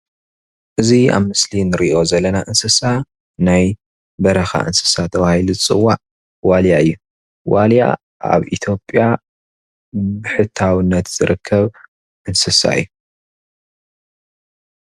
እዚ ኣብ ምስሊ እንሪኦ ዘለና እንስሳ ናይ በረካ እንስሳ ተባሂሉ ዝጽዋዕ ዋልያ እዩ. ዋልያ ኣብ ኢትዮጵያ ብሕታውነት ዝርከብ እንስሳ እዩ::